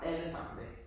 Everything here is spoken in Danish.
Alle sammen i dag